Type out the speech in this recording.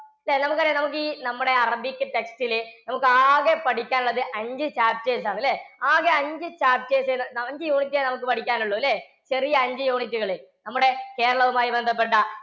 നമുക്ക് അറിയാം നമുക്ക് ഈ നമ്മുടെ അറബിക്ക് text ല് നമുക്ക് ആകെ പഠിക്കാൻ ഉള്ളത് അഞ്ചു chapters ആണല്ലേ. ആകെ അഞ്ചു chapters അഞ്ചു unit ഏ നമുക്ക് പഠിക്കാൻ ഉള്ളൂല്ലേ? ചെറിയ അഞ്ച് unit കള്. നമ്മുടെ കേരളവും ആയി ബന്ധപ്പെട്ട